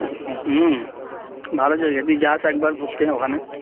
হম ভালো জায়গা তুই যাস একবার ঘুরতে ওখানে